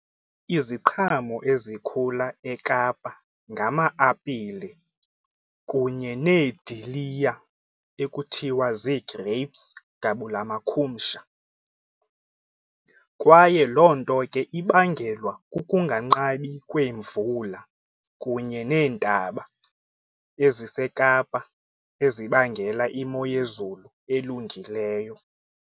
Iziqhamo ezikhula eKapa ngama-apile kunye neediliya ekuthiwa zii-grapes gabula makhumsha kwaye loo nto ke ibangelwa kukunganqabi kweemvula kunye neentaba eziseKapa ezibangela imo yezulu elungileyo.